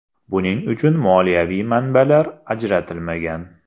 Buning uchun moliyaviy manbalar ajratilmagan.